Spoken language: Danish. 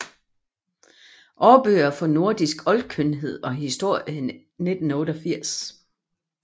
Aarbøger for Nordisk Oldkyndighed og Historie 1988